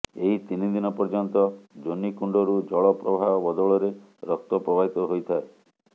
ଏହି ତିନି ଦିନ ପର୍ଯ୍ୟନ୍ତ ଯୋନୀ କୁଣ୍ଡରୁ ଜଳ ପ୍ରବାହ ବଦଳରେ ରକ୍ତ ପ୍ରବାହିତ ହୋଇଥାଏ